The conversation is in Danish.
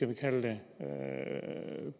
man kalde det